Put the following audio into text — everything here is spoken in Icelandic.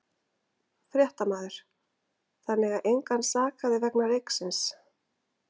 Fréttamaður: Þannig að engan sakaði vegna reyksins?